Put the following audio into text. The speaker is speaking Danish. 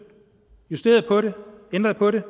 justerede på det ændrede på det